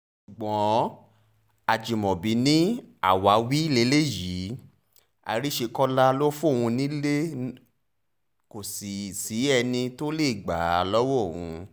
ṣùgbọ́n ajimobi ni àwáwí lélẹ́yìí àríṣekọlá ló fóun nílé kò sì sẹ́ni tó lè gbà á lọ́wọ́ òun